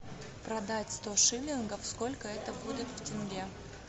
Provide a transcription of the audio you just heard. продать сто шиллингов сколько это будет в тенге